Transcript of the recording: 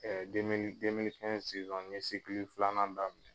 Ɛɛ demili kɛnzi siwan n ye sikili filanan daminɛ